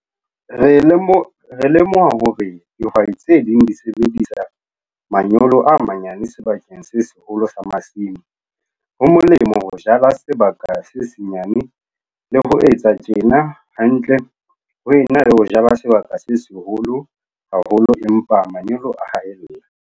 Re lemoha hore dihwai tse ding di sebedisa manyolo a manyane sebakeng se seholo sa masimo - ho molemo ho jala sebaka se senyane, le ho etsa tjena hantle ho ena le ho jala sebaka se seholo haholo empa manyolo a haella.